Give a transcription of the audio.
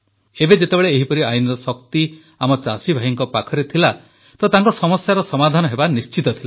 ଏବେ ଯେତେବେଳେ ଏହିପରି ଆଇନର ଶକ୍ତି ଆମ ଚାଷୀଭାଇଙ୍କ ପାଖରେ ଥିଲା ତ ତାଙ୍କ ସମସ୍ୟାର ସମାଧାନ ହେବା ନିଶ୍ଚିତ ଥିଲା